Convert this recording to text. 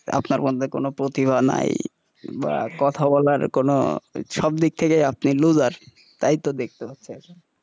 আপনার মধ্যে কোনো প্রতিভা নাই বা কথা বলার কোনো সব দিক থেকেই আপনি loser তাই তো দেখতে পাচ্ছি এখন,